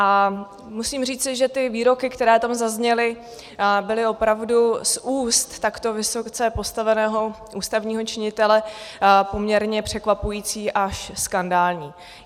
A musím říci, že ty výroky, které tam zazněly, byly opravdu z úst takto vysoce postaveného ústavního činitele poměrně překvapující až skandální.